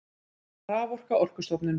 Raforka Orkustofnun.